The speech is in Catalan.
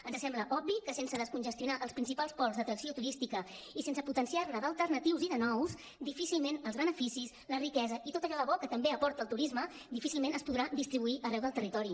ens sembla obvi que sense descongestionar els principals pols d’atracció turística i sense potenciar ne d’alternatius i de nous difícilment els beneficis la riquesa i tot allò de bo que també aporta el turisme difícilment es podrà distribuir arreu del territori